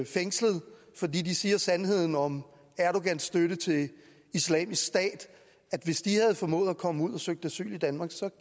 fængslet fordi de siger sandheden om erdogans støtte til islamisk stat havde formået at komme ud og søgt asyl i danmark så